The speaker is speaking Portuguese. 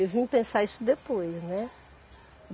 Eu vim pensar isso depois, né?